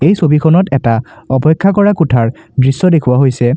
এই ছবিখনত এটা অপেক্ষা কৰা কোঠাৰ দৃশ্য দেখুওৱা হৈছে।